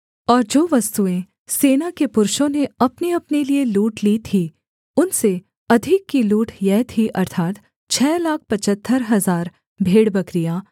और जो वस्तुएँ सेना के पुरुषों ने अपनेअपने लिये लूट ली थीं उनसे अधिक की लूट यह थी अर्थात् छः लाख पचहत्तर हजार भेड़बकरियाँ